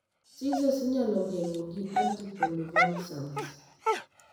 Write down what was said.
Seiures inyalo geng'o gi anticonvulsants.